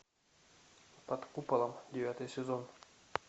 под куполом девятый сезон